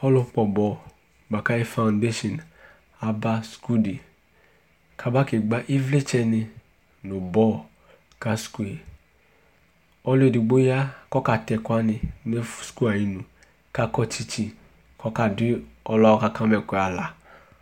Ɔlʋkpɔ bɔl bʋa kʋ ayʋ fɔndesin aba suku dɩ kʋ aba kegbǝ ɩvlɩtsɛnɩ nʋ bɔl ka suku yɛ Ɔlʋ edigbo ya kʋ ɔkatɛ ɛkʋ wanɩ nʋ ɛf suku yɛ ayinu kʋ akɔ tsɩtsɩ kʋ ɔkadʋ ɔlʋ yɛ aka ma ɛkʋ yɛ aɣla